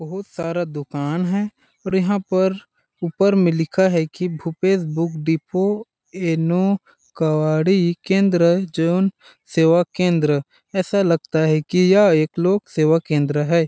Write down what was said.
बहुत सारा दुकान है और यहाँ पर ऊपर में लिखा है की भूपेश बुक डिपो इनो कवाड़ी केंद्र जन सेवा केंद्र ऐसा लगता है की यह एक लोक सेवा केंद्र हैं।